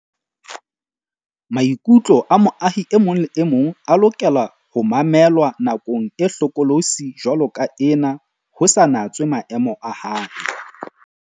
Maikutlo a moahi e mong le e mong a lokela ho mamelwa nakong e hlokolosi jwaloka ena ho sa natswe maemo a hae.